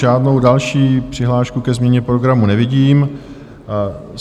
Žádnou další přihlášku ke změně programu nevidím.